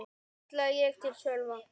kallaði ég til Sölva.